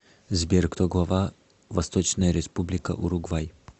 сбер кто глава восточная республика уругвай